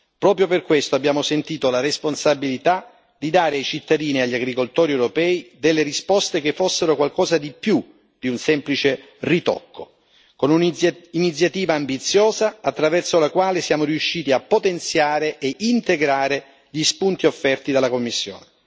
Proprio per questo abbiamo sentito la responsabilità di dare ai cittadini e agli agricoltori europei risposte che fossero qualcosa di più di un semplice ritocco, con un'iniziativa ambiziosa, attraverso la quale siamo riusciti a potenziare e integrare gli spunti offerti dalla Commissione.